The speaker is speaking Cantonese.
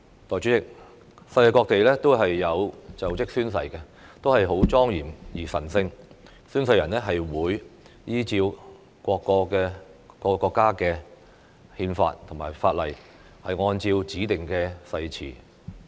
代理主席，世界各地的就職宣誓都是莊嚴而神聖的，宣誓人會依照各國憲法或法例，按照指定的誓詞宣誓。